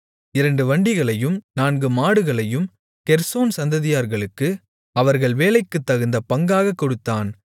இரண்டு வண்டிகளையும் நான்கு மாடுகளையும் கெர்சோன் சந்ததியார்களுக்கு அவர்கள் வேலைக்குத்தகுந்த பங்காகக் கொடுத்தான்